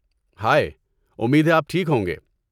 ہائے، امید ہے آپ ٹھیک ہوں گے۔